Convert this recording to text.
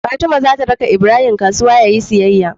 Fatima zata raka ibrahim kasuwa yayi siyyaya